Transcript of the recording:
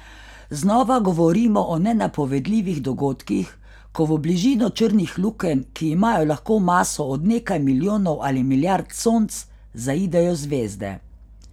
Znova govorimo o nenapovedljivih dogodkih, ko v bližino črnih lukenj, ki imajo lahko maso od nekaj milijonov ali milijard Sonc, zaidejo zvezde.